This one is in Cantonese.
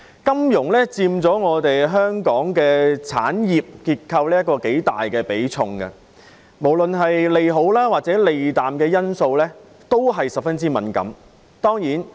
金融業在香港的產業結構中佔頗大比重，無論是對利好還是利淡的因素也十分敏感。